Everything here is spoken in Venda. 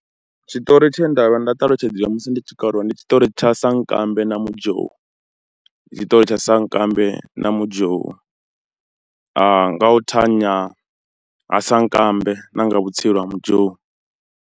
Tshiṱori tshe nda vha nda talutshedziwa musi ndi tshikoloni, ndi tshiṱori tsha Sankambe na Muzhou, tshiṱori tsha Sankambe na Muzhou nga u thanya ha Sankambe na nga vhutsila ha Muzhou.